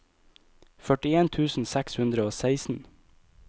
førtien tusen seks hundre og seksten